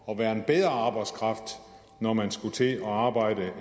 og være en bedre arbejdskraft når man skulle til at arbejde